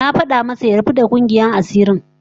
Na fada masa ya rabu da kungiyar asirin